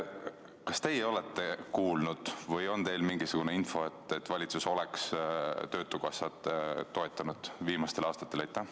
Kas teie olete kuulnud või on teil mingisugune info, et valitsus oleks töötukassat toetanud viimastel aastatel?